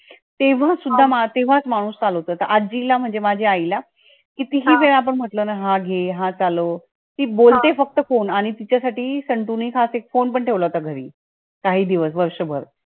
तेव्हा तेव्हाच माणूस चालवतो, आजीला म्हणजे माझ्या आईला कितीही वेळा आपण बोललो ना हा घे हा चालावं ती बोलते फक्त phone आणि तिच्या साठी संतू ने खास एक phone पण ठेवला होता घरी, काही दिवस वर्ष भर.